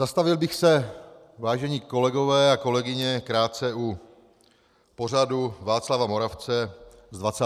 Zastavil bych se, vážení kolegové a kolegyně, krátce u pořadu Václava Moravce z 29. března.